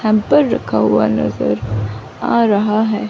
Hamper रखा हुआ नजर आ रहा है।